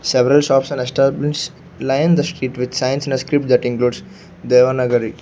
several shops and established lined the street with signs in a script that includes devanagari.